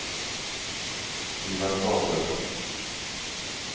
Ivan Gabrielsson